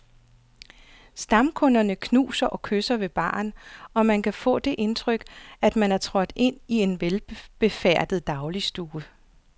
Stamkunderne knuser og kysser ved baren, og man kan få det indtryk, at man er trådt ind i en velbefærdet dagligstue.